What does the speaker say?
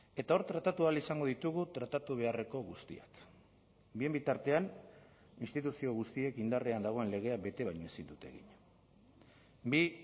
eta hor tratatu ahal izango ditugu tratatu beharreko guztiak bien bitartean instituzio guztiek indarrean dagoen legea bete baino ezin dute egin bi